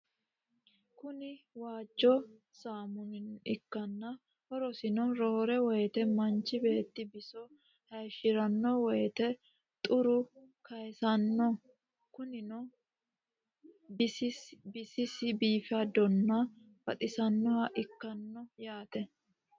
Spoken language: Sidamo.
Kuni waajjo saammuna ikkanna horosino roore woyite manchi betti biso hayishiranno woyite xure kayisanno konnirano bisis biifadonna baxissannoha ikkanno yaate.